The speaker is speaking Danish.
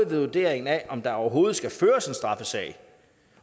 ved vurderingen af om der overhovedet skal føres en straffesag